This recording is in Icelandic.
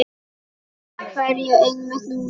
Af hverju einmitt núna?